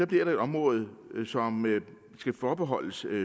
bliver der et område som skal forbeholdes